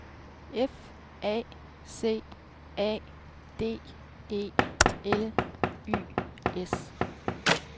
F A C A D E L Y S